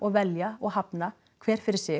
velja og hafna hver fyrir sig